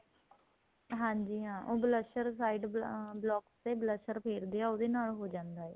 ਹਾਂਜੀ ਹਾਂ ਉਹ blusher side block ਤੇ blusher ਫੇਰਦੇ ਏ ਉਹਦੇ ਨਾਲ ਹੋ ਜਾਂਦੇ ਏ